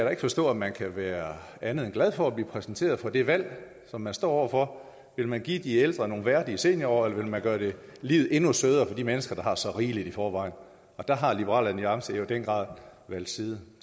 kan forstå at man kan være andet end glad for at blive præsenteret for det valg som man står over for vil man give de ældre nogle værdige seniorår eller vil man gøre livet endnu sødere for de mennesker der har så rigeligt i forvejen og der har liberal alliance jo i den grad valgt side